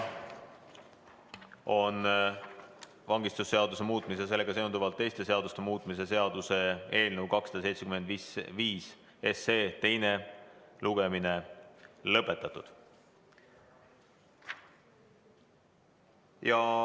Vangistusseaduse muutmise ja sellega seonduvalt teiste seaduste muutmise seaduse eelnõu 275 teine lugemine on lõpetatud.